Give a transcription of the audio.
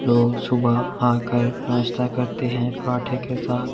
लोग सुबह आकर नाश्ता करते हैंपराठे के साथ--